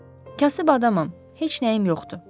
Kasıb adamam, heç nəyim yoxdur.